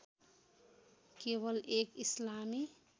केवल एक इस्लामी